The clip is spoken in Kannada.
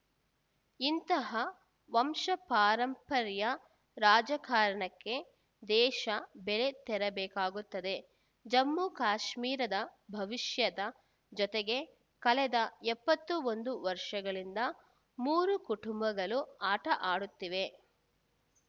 ಇಂತಹ ವಂಶಪಾರಂಪರ್ಯ ರಾಜಕಾರಣಕ್ಕೆ ದೇಶ ಬೆಲೆ ತೆರಬೇಕಾಗುತ್ತದೆ ಜಮ್ಮು ಕಾಶ್ಮೀರದ ಭವಿಷ್ಯದ ಜೊತೆಗೆ ಕಳೆದ ಎಪ್ಪತ್ತೊಂದು ವರ್ಷಗಳಿಂದ ಮೂರು ಕುಟುಂಬಗಳು ಆಟ ಆಡುತ್ತಿವೆ